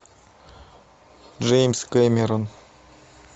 джеймс кэмерон